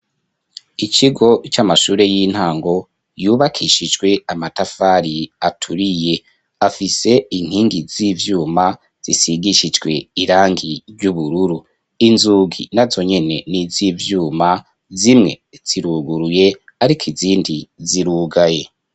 ikigo c'amashure y'intango yubakishijwe amatafari aturiye afise inkingi z'ivyuma zisigishijwe irangi ry'ubururu inzugi nazonyene niz'ivyuma zimwe ziruguruye ariko izindi zirugaye